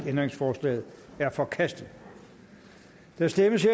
ændringsforslaget er forkastet der stemmes